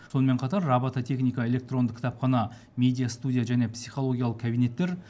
сонымен қатар робототехника электронды кітапхана медиа студия және психологиялық кабинеттер